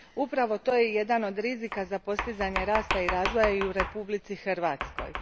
Upravo to je jedan od rizika za postizanje rasta i razvoja i u Republici Hrvatskoj.